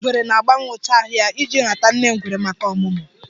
Oke ngwere na-agbanwe ụcha ahụ ya iji rata nne ngwere maka ọmụmụ.